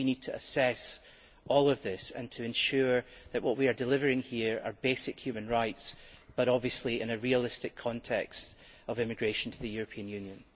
We really need to assess all of this and to ensure that what we are delivering here are basic human rights, but obviously in a realistic context of immigration to the European Union.